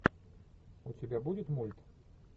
у тебя будет мульт